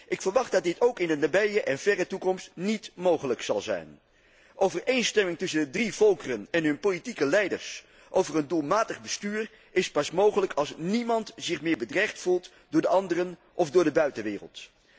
Ik verwacht dat dit ook in de nabije en verre toekomst niet mogelijk zal zijn. Overeenstemming tussen de drie volkeren en hun politieke leiders over een doelmatig bestuur is pas mogelijk als niemand zich meer bedreigd voelt door de anderen of door de buitenwereld.